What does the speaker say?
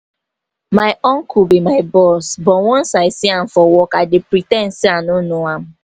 my uncle be my boss but once i see am for work i dey pre ten d say i no know am